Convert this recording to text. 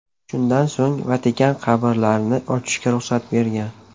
Shundan so‘ng Vatikan qabrlarni ochishga ruxsat bergan.